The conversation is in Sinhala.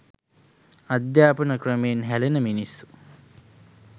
අධ්‍යාපන ක්‍රමයෙන් හැලෙන මිනිස්සු